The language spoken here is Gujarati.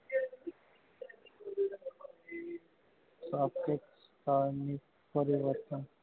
સહથીક સાહન ની પરિવર્તન